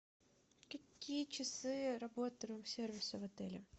какие часы работы рум сервиса в отеле